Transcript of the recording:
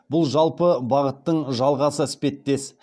бұл жалпы бағыттың жалғасы іспеттес